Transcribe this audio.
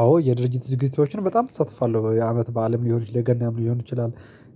አዎ የድርጅት ዝግጅቶችን በጣም እሳተፋለሁ የአመት በዓልም ይሁን የገናም ሊሆን ይችላል።